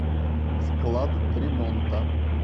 склад ремонта